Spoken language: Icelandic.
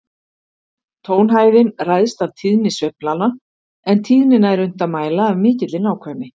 Tónhæðin ræðst af tíðni sveiflanna, en tíðnina er unnt að mæla af mikilli nákvæmni.